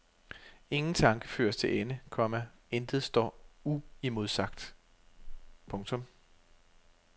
Ingen tanke føres til ende, komma intet står uimodsagt. punktum